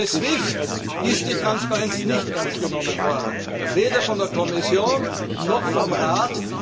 Bei SWIFT ist die Transparenz nicht ernst genommen worden weder von der Kommission noch vom Rat.